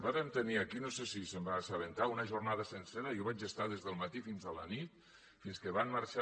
vàrem tenir aquí no sé si se’n va assabentar una jornada sencera jo hi vaig estar des del matí fins a la nit fins que van marxar